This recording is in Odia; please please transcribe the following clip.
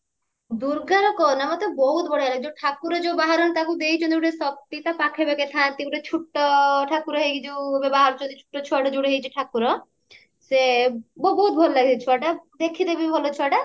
ଦୁର୍ଗାର କହନା ମତେ ବହୁତ ବଢିଆ ଲାଗେ ଯୋଉ ଠାକୁର ଯୋଉ ବାହାରନ୍ତି ତାକୁ ଦେଇଛନ୍ତି ଗୋଟେ ଶକ୍ତି ତା ପାଖେ ପାଖେ ଥାନ୍ତି ଗୋଟେ ଛୋଟ ଠାକୁର ହେଇକି ଏବେ ଯୋଉ ବାହାରୁଛନ୍ତି ଗୋଟେ ଛୋଟ ଛୁଆଟା ଯୋଉଟା ହେଇଛି ଠାକୁର ସେ ବହୁତ ବହୁତ ଭଲ ଲାଗେ ସେ ଛୁଆଟା ଦେଖିତେ ବି ଭଲ ଛୁଆଟା